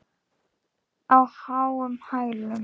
Á háum hælum.